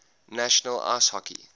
national ice hockey